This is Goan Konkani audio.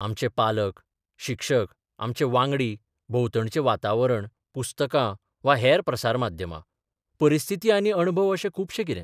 आमचे पालक, शिक्षक, आमचे बांगडी, भोंवतणचें बाताबरण, पुस्तकां वा हेर प्रसार माध्यमां, परिस्थिती आनी अणभव अशें खूबशें कितें.